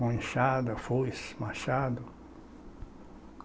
Com enxada, foice, machado.